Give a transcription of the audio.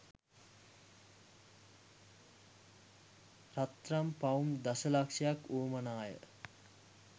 රත්‍රන් පවුම් දශ ලක්‍ෂයක් වුවමනා ය.